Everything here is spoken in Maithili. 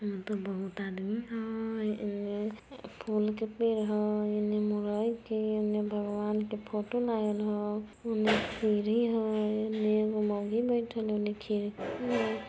यहां पर बहुते आदमी हेय फूलो के पेड़ है भगवान के फोटो लागल हेय---